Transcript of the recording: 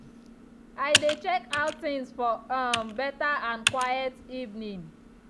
i dey check out things for um beta and quiet evening.